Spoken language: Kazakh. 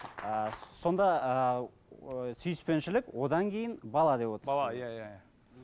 ы сонда ыыы ы сүйіспеншілік одан кейін бала деп отырсыз бала иә иә иә